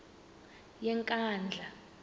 yenkandla